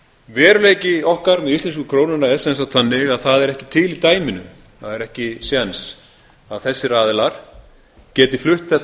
veruleiki okkar með íslensku krónuna er sem sagt þannig að það er ekki til í dæminu það er ekki séns að þessir aðilar geti flutt þetta